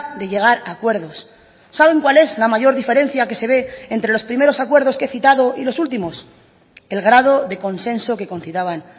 de llegar a acuerdos saben cuál es la mayor diferencia que se ve entre los primeros acuerdos que he citado y los últimos el grado de consenso que concitaban